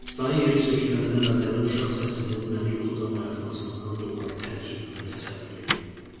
Dan yeri söküləndə məzəli uşaq səsinin məni yuxudan oyatmasından doğan təəccübümü təsəvvür eləyin.